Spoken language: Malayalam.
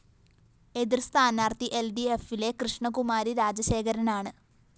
എതിര്‍ സ്ഥാനാര്‍ത്ഥി എല്‍ഡിഎഫിലെ കൃഷ്ണകുമാരി രാജശേഖരനാണ്